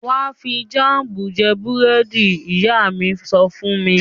"Wà á fi jáámù jẹ búrẹ́dì r!" Ìyá mi sọ fún mi.